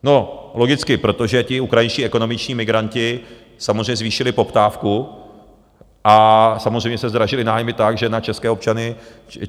No logicky, protože ti ukrajinští ekonomičtí migranti samozřejmě zvýšili poptávku a samozřejmě se zdražily nájmy tak, že na české občany...